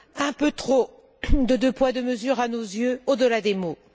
Un peu trop de deux poids, deux mesures à nos yeux au delà des mots.